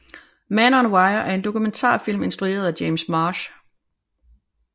Man on Wire er en dokumentarfilm instrueret af James Marsh